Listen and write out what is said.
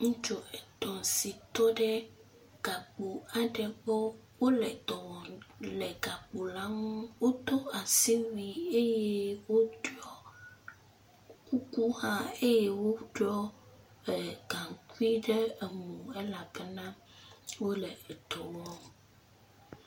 Ŋutsu etɔ̃ si tɔ ɖe gakpo aɖe gbɔ. Wole dɔ wɔm le gakpo la nu. Wodo asiwui eye woɖɔi kuku hã eye woɖɔi gaŋkui ɖe enu elabena wole edɔ wɔm.